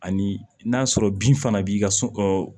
Ani n'a sɔrɔ bin fana b'i ka so